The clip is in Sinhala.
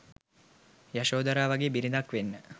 යශෝධරා වගේ බිරිඳක් වෙන්න